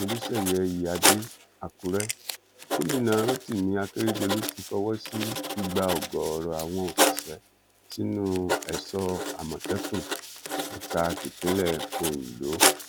olùsẹyẹ iyíáde àkúrẹ gómìnà rotimi akérèdọlù ti fọwọ sí gbígba ọgọọrọ àwọn òṣìṣẹ sínú èso àmọtẹkùn ẹka tipińlẹ ondo